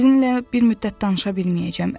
Sizinlə bir müddət danışa bilməyəcəm.